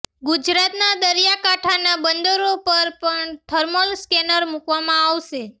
ગુજરાતનાં દરિયાકાંઠાનાં બંદરો પર પણ થર્મલ સ્કેનર મુકવામાં આવશે